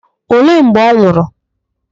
Olee mgbe ọ nwụrụ?